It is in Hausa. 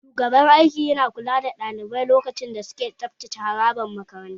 Shugaban aiki ya na kula da ɗalibai lokacin da suke tsabtace harabar makaranta